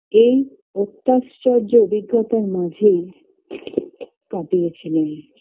এই অত্যাশ্চর্য অভিজ্ঞতার মাঝেই কাটিয়ে ছিলেন